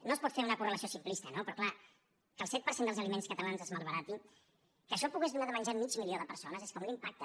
no es pot fer una correlació simplista no però és clar que el set per cent dels aliments catalans es malbaratin que això pogués donar de menjar a mig milió de persones és que a un l’impacta